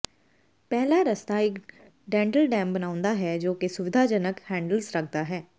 ਪਹਿਲਾ ਰਸਤਾ ਇੱਕ ਡੈਂਟਲ ਡੈਮ ਬਣਾਉਂਦਾ ਹੈ ਜੋ ਕਿ ਸੁਵਿਧਾਜਨਕ ਹੈਂਡਲਜ਼ ਰੱਖਦਾ ਹੈ